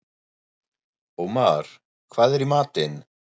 Ómar, hvað er í matinn?